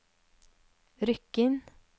Rykkinn